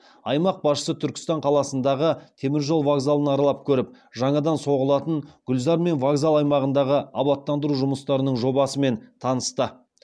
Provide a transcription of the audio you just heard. аймақ басшысы түркістан қаласындағы теміржол вокзалын аралап көріп жаңадан соғылатын гүлзар мен вокзал аймағындағы абаттандыру жұмыстарының жобасымен танысты